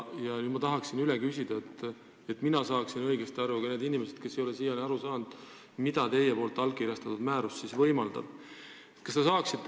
Nüüd ma tahaksin üle küsida, et mina saaksin õigesti aru ja ka need inimesed, kes ei ole siiani aru saanud, mida teie allkirjastatud määrus võimaldab.